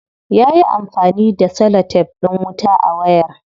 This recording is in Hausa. Yayi amfani da celotef din wuta a wayar.